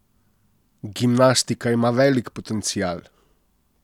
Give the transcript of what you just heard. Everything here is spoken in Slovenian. Gimnastika ima velik potencial.